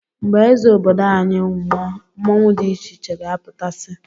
Mgbe eze obodo anyị nwụọ mmọnwu dị icheiche ga-apụta si